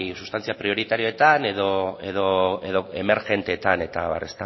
sustantzia prioritarioetan edo emergenteetan eta abar